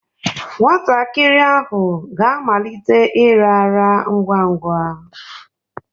Nwatakịrị ahụ ga-amalite ịrara ngwa ngwa.